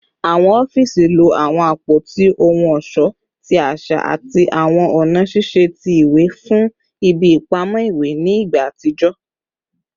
Awọn ọfiisi lo awọn apoti ohun ọṣọ ti aṣa ati awọn ọna ṣiṣe ti iwe fun ibi ipamọ iwe ni igba atijọ